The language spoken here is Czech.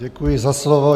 Děkuji za slovo.